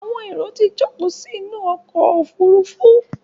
Àwọn èrò tí jókòó sí inú ọkọ̀ òfurufú.